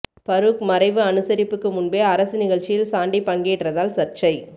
பரூக் மறைவு அனுசரிப்புக்கு முன்பே அரசு நிகழ்ச்சியில் சாண்டி பங்கேற்றதால் சர்ச்சை